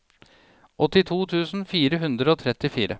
åttito tusen fire hundre og trettifire